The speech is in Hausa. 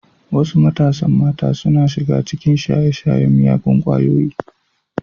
Wasu matasan mata suna shiga cikin shaye-shayen miyagun kwayoyi.